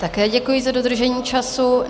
Také děkuji za dodržení času.